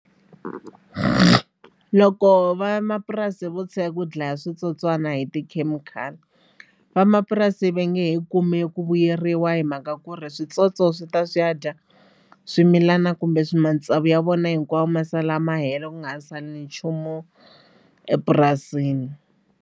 Loko vamapurasi vo tshika ku dlaya switsotswani hi tikhemikhali vamapurasi va nge he kumi ku vuyeriwa hi mhaka ku ri switsotso swi ta swi ya dya swimilana kumbe matsavu ya vona hinkwawo ma sala ma hela ku nga sali nchumu epurasini.